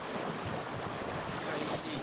uhaliyeli